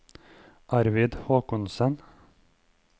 Arvid Håkonsen